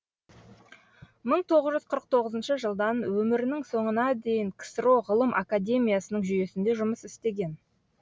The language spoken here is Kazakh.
мың тоғыз жүз қырық тоғызыншы жылдан өмірінің соңына дейін ксро ғылым академиясының жүйесінде жұмыс істеген